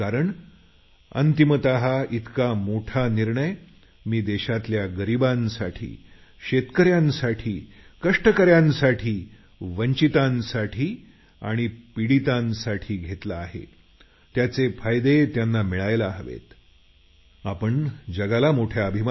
कारण अंतिमत इतका मोठा निर्णय मी देशातल्या गरिबांसाठी शेतकऱ्यांसाठी कामगारांसाठी वंचितांसाठी घेतला आहे त्याचा लाभ त्यांना मिळाला पाहिजे